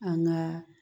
An ka